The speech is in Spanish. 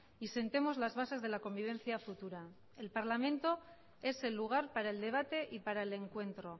y sentemos las bases de la convivencia futura el parlamento es el lugar para el debate y para el encuentro